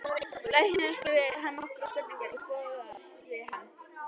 Læknirinn spurði hann nokkurra spurninga og skoðaði hann.